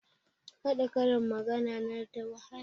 Haɗa karin magana na da wahala